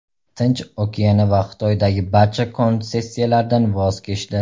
Tinch okeani va Xitoydagi barcha konsessiyalardan voz kechdi.